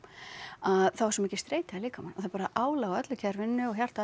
að þá er svo mikil streita í líkamanum og það er bara álag á öllu kerfinu og hjarta